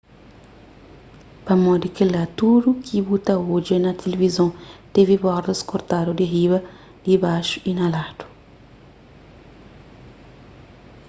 pamodi kela tudu ki bu ta odja na tilivizon tevi bordas kortadu di riba dibaxu y na ladu